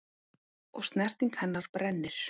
Og snerting hennar brennir.